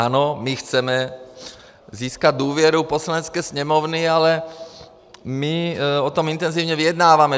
Ano, my chceme získat důvěru Poslanecké sněmovny, ale my o tom intenzivně vyjednáváme.